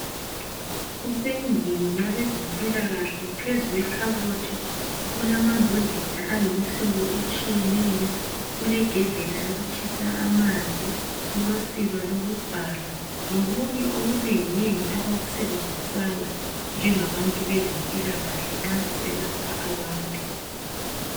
Kusendlini yabezempilakahle phezulu kwekhabothi kulama mbodlela ayimihlobo etshiyeneyo, kulegedlela yokutshisa amanzi, kulosiba lokubhala lokunye okunengi nengi abakusebenzisayo nje ngabantu bezempilakahle nxa beselapha abantu.